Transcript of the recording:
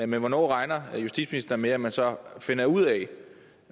men hvornår regner justitsministeren med at man så finder ud af